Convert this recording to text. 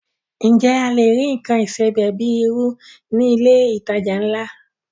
Ǹjẹ́ a lè rí nǹkan ìsebẹ̀ bíi irú ní ilé ìtajà ńlá?